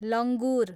लङ्गुर